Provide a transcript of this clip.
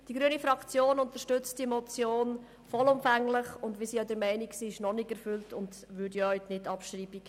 Die grüne Fraktion unterstützt diese Motion vollumfänglich, und wir sind auch der Meinung, sie sei noch nicht erfüllt und unterstützen deshalb die Nicht-Abschreibung.